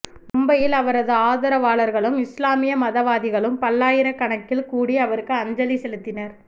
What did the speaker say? மும்பையில் அவரது ஆதரவாளர்களும் இஸ்லாமிய மதவாதிகளும் பல்லாயிரக்கணக்கில் கூடி அவருக்கு அஞ்சலி செலுத்தினர்